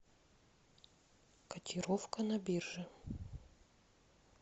котировка на бирже